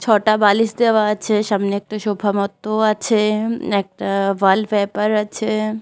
ছটা বালিশ দেওয়া আছে সামনে একটা সোফা মতো আছেএকটা ওয়ালপেপার আছে ।